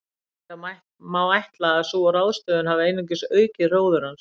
Reyndar má ætla að sú ráðstöfun hafi einungis aukið hróður hans.